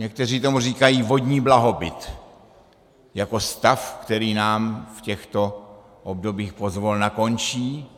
Někteří tomu říkají vodní blahobyt, jako stav, který nám v těchto obdobích pozvolna končí.